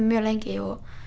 mjög lengi